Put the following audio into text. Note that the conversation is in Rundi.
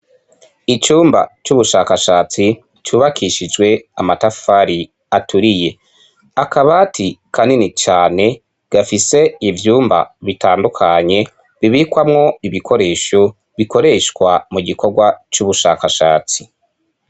Icumba c'ubushakashatsi cubakishijwe amatafari aturiye. Akabati kanini cane gafise ivyumba bitandukanye bibikwamwo ibikoresho bikoreshwa mu gikorwa c'ubushakashatsi.